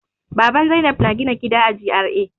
Baban Zainab na gina gida a G.R.A.